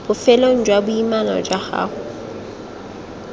bofelong jwa boimana jwa gago